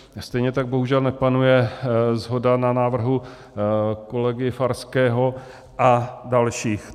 Stejně tak bohužel nepanuje shoda na návrhu kolegy Farského a dalších.